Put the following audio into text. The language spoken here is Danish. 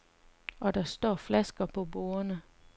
Og der står flasker på bordene.